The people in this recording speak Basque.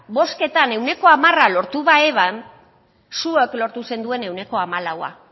bozketan ehuneko hamara lortu baeban zuek lortu zenduen ehuneko hamalaua